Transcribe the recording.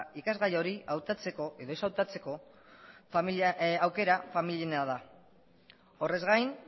ikasgaia hori hautatzeko edo ez hautatzeko aukera familiena da horrez gain